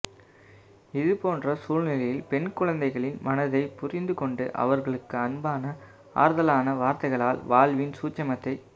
இதுபோன்ற சூழ்நிலையில் பெண்குழந்தைகளின் மனதை புரிந்து கொண்டு அவர்களுக்கு அன்பான ஆறுதலான வார்த்தைகளால் வாழ்வின் சூட்சுமத்தை